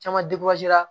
Caman